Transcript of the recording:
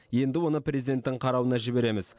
енді оны президенттің қарауына жібереміз